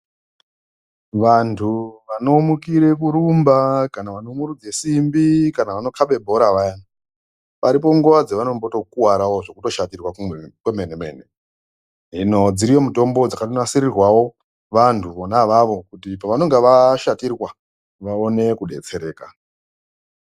Vantu vanomukire kurumba kana vanomurudze simbi, kana vanokaba bhora vayani paripo nguwa dzevanotombo kuwarawo zvekutoshatirwa kwenene mene. Hino dziriyo mutombo dzakatonasirirwawo vantu vona avavo kuti pavanonga vashatirwa vaone kudetsereka.